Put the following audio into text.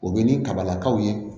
O bɛ ni kabalakaw ye